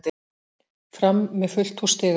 Fram með fullt hús stiga